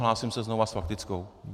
Hlásím se znova s faktickou.